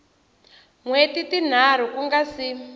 wheti tinharhu ku nga si